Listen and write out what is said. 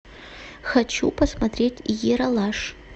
хочу посмотреть ералаш